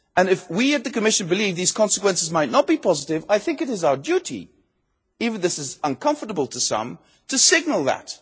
If we in the Commission believe those consequences might not be positive, I think it is our duty even if it is uncomfortable to some to signal